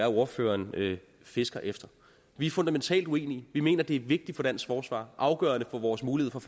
ordføreren fisker efter vi er fundamentalt uenige vi mener det er vigtigt for dansk forsvar og afgørende for vores mulighed for